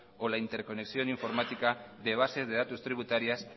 o la interconexión informática de bases de datos tributarias